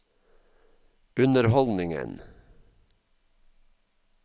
underholdningen